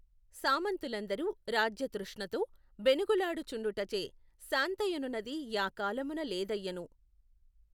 సామంతులందరు రాజ్యతృష్ణతో బెనగులాడు చుండుటచే శాంతయనునది యా కాలమున లేదయ్యెను.